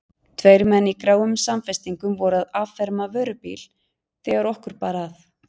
Tveir menn í gráum samfestingum voru að afferma vörubíl þegar okkur bar að.